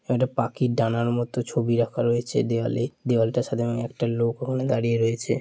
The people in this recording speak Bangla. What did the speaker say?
একটা পাখির ডানার মতো ছবি রাখা রয়েছে দেওয়ালে দেওয়ালটি সাদা রঙের একটা লোক ওখানে দাঁড়িয়ে রয়েছে।